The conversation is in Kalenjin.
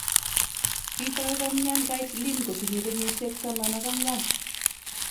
Kitai komyan Caitlin kotinye kenyisyel taman ak ang'wan